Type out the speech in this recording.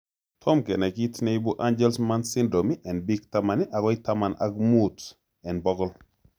Tom kenai kiit neibu angelman syndrome en biik 10 agoi taman ak muut en bogol